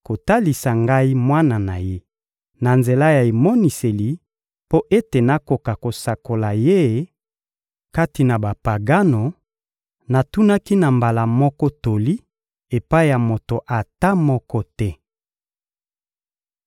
kotalisa ngai Mwana na Ye na nzela ya emoniseli mpo ete nakoka kosakola Ye kati na Bapagano, natunaki na mbala moko toli epai ya moto ata moko te.